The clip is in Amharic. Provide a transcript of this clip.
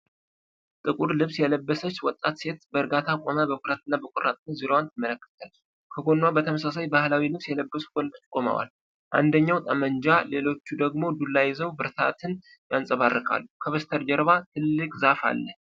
ጥቁር ልብስ የለበሰች ወጣት ሴት፣ በእርጋታ ቆማ በኩራትና በቆራጥነት ዙሪያዋን ትመለከታለች። ከጎኗ በተመሳሳይ ባህላዊ ልብስ የለበሱ ወንዶች ቆመዋል፤ አንደኛው ጠመንጃ፣ ሌሎቹ ደግሞ ዱላ ይዘው ብርታትን ያንጸባርቃሉ። ከበስተጀርባ ትልቅ ዛፍ አለ።